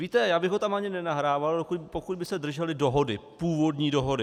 Víte, já bych ho tam ani nenahrával, pokud by se držely dohody, původní dohody.